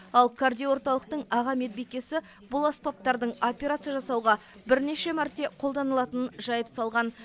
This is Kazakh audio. ал кардиорталықтың аға медбикесі бұл аспаптардың операция жасауға бірнеше мәрте қолданылатынын жайып салған